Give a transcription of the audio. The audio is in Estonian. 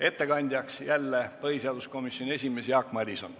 Ettekandja on jälle põhiseaduskomisjoni esimees Jaak Madison.